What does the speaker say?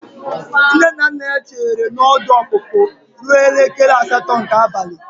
Nne na nna ya chere na ọdụ ọpụpụ ruo elekere asatọ nke abalị.